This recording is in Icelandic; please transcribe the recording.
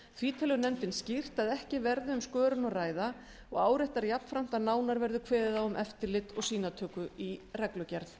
því telur nefndin skýrt að ekki verði um skörun að ræða og áréttar jafnframt að nánar verður kveðið á um eftirlit og sýnatöku í reglugerð